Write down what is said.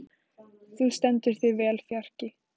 Þú stendur þig vel, Fjarki!